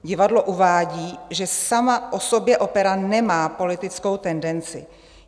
Divadlo uvádí, že sama o sobě opera nemá politickou tendenci.